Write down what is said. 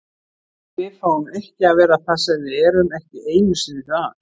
Við fáum ekki að vera það sem við erum, ekki einu sinni það.